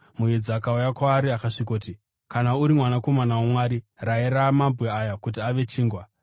Muedzi akauya kwaari akasvikoti, “Kana uri Mwanakomana waMwari, rayira mabwe aya kuti ave chingwa.”